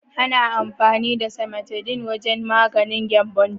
Ana amfani da cimetidine wajen magance gyambon ciki.